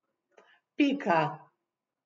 Pika.